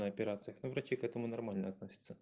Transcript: на операциях ну врачи к этому нормально относятся